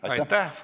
Aitäh!